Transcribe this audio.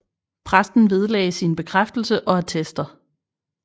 Præsten vedlagte sin bekræftelse og attester